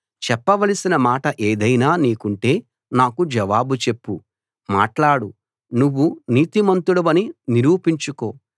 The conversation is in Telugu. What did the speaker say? చెప్పవలసిన మాట ఏదైనా నీకుంటే నాకు జవాబు చెప్పు మాట్లాడు నువ్వు నీతిమంతుడవని నిరూపించుకో